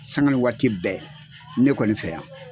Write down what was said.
Sanga ni waati bɛɛ ne kɔni fɛ yan